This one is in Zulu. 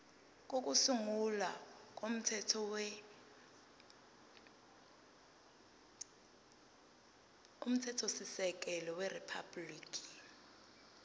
kokusungula komthethosisekelo weriphabhuliki